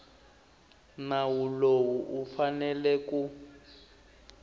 nawu lowu u fanele ku